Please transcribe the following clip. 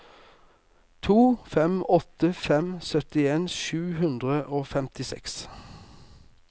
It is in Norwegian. to fem åtte fem syttien sju hundre og femtiseks